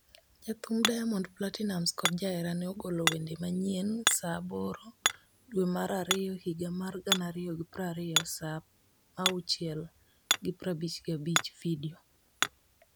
Jathum Diamond Platnumz kod jaherane ogolo wende manyien, Saa 2,0020 dwe mar ariyo higa mar 2020 saa 0:55 Video,